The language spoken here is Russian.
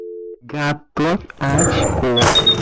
готовь очко